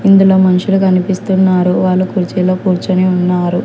ఇందులో మనుషులు కనిపిస్తున్నారు వాళ్లు కుర్చీలో కూర్చోని ఉన్నారు.